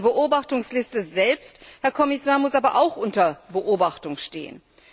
Diese Beobachtungsliste selbst, Herr Kommissar, muss aber auch unter Beobachtung stehen.